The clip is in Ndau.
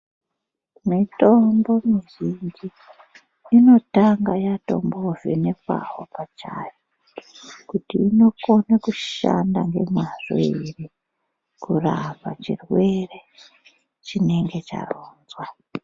Mitombo mizhinji inotanga yatombo vhenekwawo pachayo kuti inokone kushanda ngemwazvo ere kurapa chirwere chinenge charonzwa